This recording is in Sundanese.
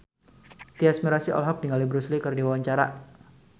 Tyas Mirasih olohok ningali Bruce Lee keur diwawancara